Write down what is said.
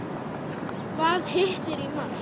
Hvað hittir í mark?